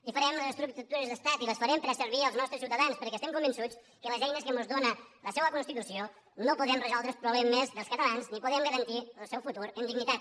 i farem les estructures d’estat i les farem per a servir als nostres ciutadans perquè estem convençuts que amb les eines que mos dóna la seua constitució no podem resoldre els problemes dels catalans ni podem garantir el seu futur amb dignitat